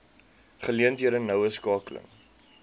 geleenthede noue skakeling